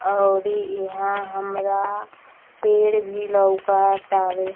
और ई यहाँ हमरा पेड़ वी लउकत तावे |